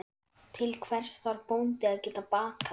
Til hvers þarf bóndi að geta bakað?